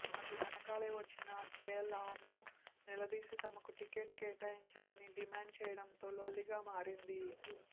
అటు వెనుకాలే వచ్చిన కేఎల్ఆర్ను నిలదీసి తమకు టికెట్ కేటాయించాలని డిమాండ్ చేయడంతో లొల్లిగా మారింది